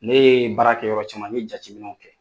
Ne ye baara kɛ yɔrɔ caman n jateminɛw kɛ